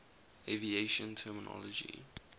aviation terminology